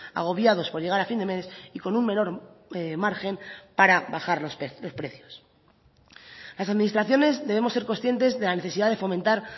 agobiados por llegar a fin de mes y con un menor margen para bajar los precios las administraciones debemos ser conscientes de la necesidad de fomentar